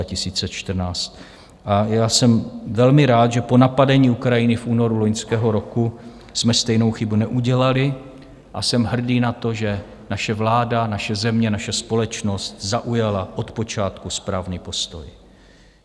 A já jsem velmi rád, že po napadení Ukrajiny v únoru loňského roku jsme stejnou chybu neudělali, a jsem hrdý na to, že naše vláda, naše země, naše společnost zaujala od počátku správný postoj.